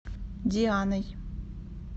дианой